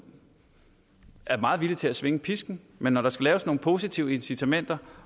er meget villig til at svinge pisken men når der skal laves nogle positive incitamenter